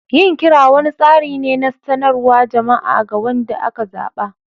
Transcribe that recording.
Yin kira wani tsari ne na sanarwar jama'a ga wanda aka zaba.